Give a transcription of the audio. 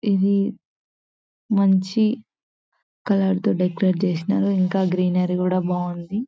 ఇది మంచి కలర్ తో డెకరేట్ చేసినారు. ఇంకా గ్రీనరీ కూడా బాగుంది.